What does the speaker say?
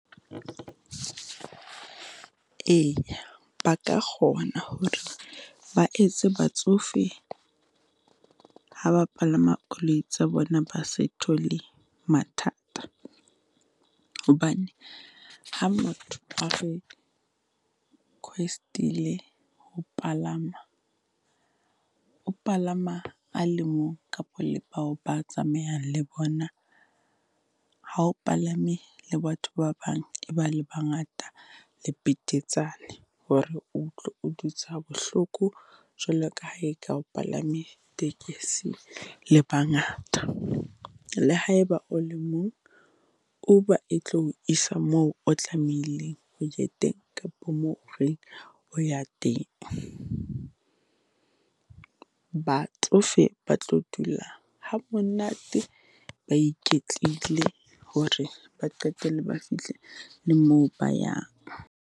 Eya, ba ka kgona hore ba etse batsofe ha ba palama koloi tsa bona, ba se thole mathata hobane ha motho a request-ile ho palama, o palama a le mong kapa le bao ba tsamayang le bona. Ha o palame le batho ba bang, e ba le bangata e betetsane hore utlwe o dutse ha bohloko jwalo ka ha e ka o palame tekesi le bangata. Le ha e ba o le mong, Uber e tlo o isa moo o tlamehileng ho ye teng, kapo moo o reng o ya teng. Batsofe ba tlo dula ha monate, ba iketlile hore ba qetelle ba fihle le moo ba yang.